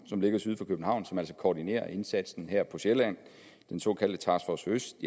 som ligger syd for københavn og som altså koordinerer indsatsen her på sjælland den såkaldte task force øst